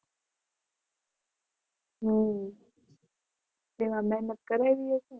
હમ તેમાં મહેનત કરેલી હશે ને?